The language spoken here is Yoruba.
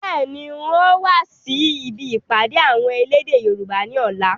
Bẹ́ẹ̀ni, ń ò wa si ibi ìpàdé àwọn elédè Yorùbá ni ọ̀la